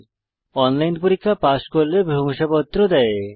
online পরীক্ষা pass করলে প্রশংসাপত্র দেওয়া হয়